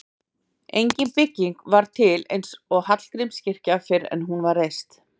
engin bygging var til eins og hallgrímskirkja fyrr en hún var reist